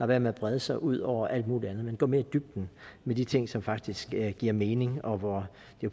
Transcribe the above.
være med brede sig ud over alt muligt andet men går mere i dybden med de ting som faktisk giver mening og hvor